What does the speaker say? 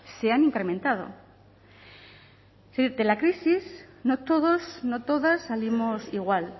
se han incrementado de la crisis no todos no todas salimos igual